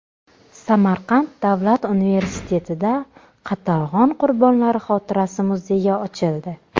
Samarqand davlat universitetida Qatag‘on qurbonlari xotirasi muzeyi ochildi.